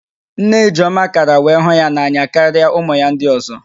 Nne Ijeọma kara wee hụ ya n'anya karịa ụmụ ya ndị ọ̀zọ́